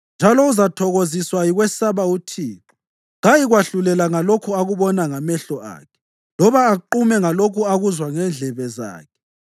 njalo uzathokoziswa yikwesaba uThixo. Kayikwahlulela ngalokho akubona ngamehlo akhe, loba aqume ngalokho akuzwa ngendlebe zakhe;